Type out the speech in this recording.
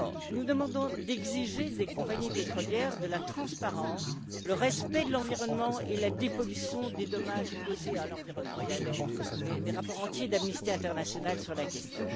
Nous demandons d'exiger des compagnies pétrolières de la transparence, le respect de l'environnement et la dépollution des dommages causés à l'environnement. Il y a des rapports entiers d'Amnesty International sur la question.